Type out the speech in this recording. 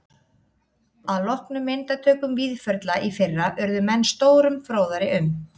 Að loknum myndatökum Víðförla í fyrra urðu menn stórum fróðari um